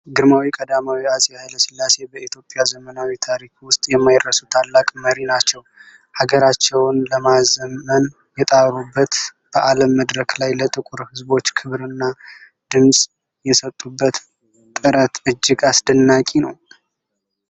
ግርማዊ ቀዳማዊ አፄ ኃይለ ሥላሴ በኢትዮጵያ ዘመናዊ ታሪክ ውስጥ የማይረሱ ታላቅ መሪ ናቸው። ሀገራቸውን ለማዘመን የጣሩበት፣ በዓለም መድረክ ላይ ለጥቁር ሕዝቦች ክብርና ድምጽ የሰጡበት ጥረት እጅግ አስደናቂ ነው!